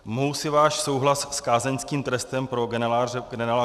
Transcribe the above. Mohu si váš souhlas s kázeňským trestem pro generála